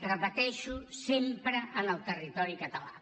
repeteixo sempre en el territori català